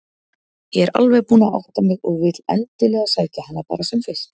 Ég er alveg búin að átta mig og vil endilega sækja hana bara sem fyrst.